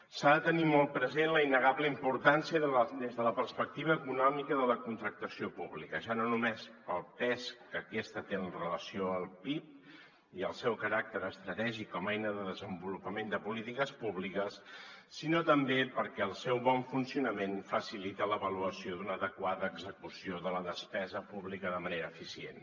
s’ha de tenir molt present la innegable importància des de la perspectiva econòmica de la contractació pública ja no només pel pes que aquesta té amb relació al pib i el seu caràcter estratègic com a eina de desenvolupament de polítiques públiques sinó també perquè el seu bon funcionament facilita l’avaluació d’una adequada execució de la despesa pública de manera eficient